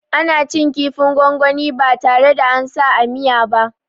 Ana cin kifin gwangwani ba tare da ansa a miya ba